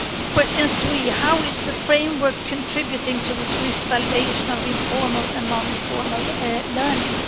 Question 3 how is the framework contributing to the swift validation of informal and non-informal learning?